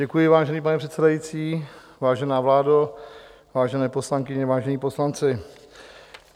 Děkuji, vážený pane předsedající, vážená vládo, vážené poslankyně, vážení poslanci.